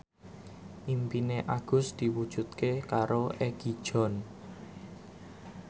impine Agus diwujudke karo Egi John